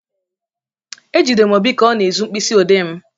Ejidere m Obi ka ọ na-ezu mkpịsị ọdee m.